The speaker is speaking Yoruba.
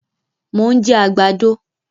Mo ń jẹ àgbàdo